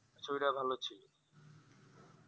ছবিটা ভালো ছিল